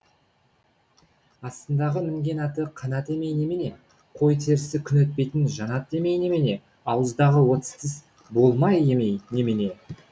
астындағы мінген аты қанат емей немене қой терісі күн өтпейтін жанат емей немене ауыздағы отыз тіс болмай емей немене